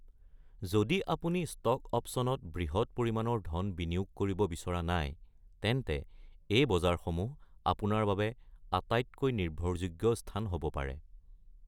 যদি আপুনি ষ্টক অপ্চনত বৃহৎ পৰিমাণৰ ধন বিনিয়োগ কৰিব বিচৰা নাই, তেন্তে এই বজাৰসমূহ আপোনাৰ বাবে আটাইতকৈ নিৰ্ভৰযোগ্য স্থান হ'ব পাৰে।